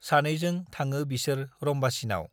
सानैजों थाङो बिसोर रम्बासीनाव ।